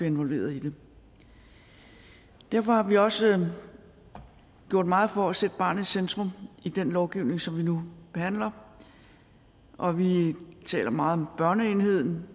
involveret i det derfor har vi også gjort meget for at sætte barnet i centrum i den lovgivning som vi nu behandler og vi taler meget om børneenheden